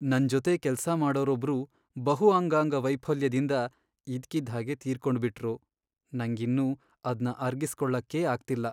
ನನ್ಜೊತೆ ಕೆಲ್ಸ ಮಾಡೋರೊಬ್ರು ಬಹು ಅಂಗಾಂಗ ವೈಫಲ್ಯದಿಂದ ಇದ್ಕಿದ್ಹಾಗೆ ತೀರ್ಕೊಂಡ್ಬಿಟ್ರು.. ನಂಗಿನ್ನೂ ಅದ್ನ ಅರ್ಗಿಸ್ಕೊಳಕ್ಕೇ ಆಗ್ತಿಲ್ಲ.